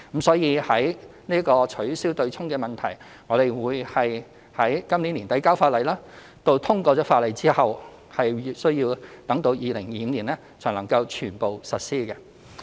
所以取消"對沖"的問題，我們會在今年年底提交法例，通過法例後需待至2025年才能全部實施。